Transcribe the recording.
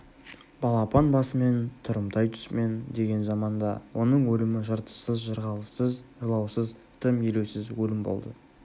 балапан басымен тұрымтай тұсымен деген заманда оның өлімі жыртыссыз жырғалыссыз жылаусыз тым елеусіз өлім болды